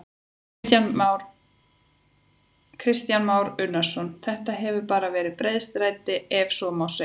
Kristján Már Unnarsson: Þetta hefur bara verið breiðstræti ef svo má segja?